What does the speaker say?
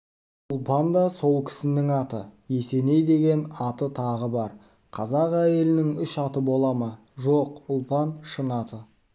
ұлпан да сол кісінің аты есеней деген аты тағы бар қазақ әйелінің үш аты бола ма жоқ ұлпан шын аты